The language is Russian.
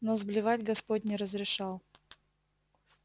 но сблевать господь не разрешал